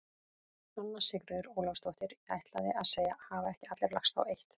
Anna Sigríður Ólafsdóttir: Ég ætlaði að segja: Hafa ekki allir lagst á eitt?